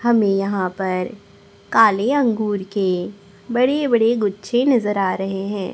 हमें यहां पर काले अंगूर के बड़े बड़े गुच्छे नजर आ रहे हैं।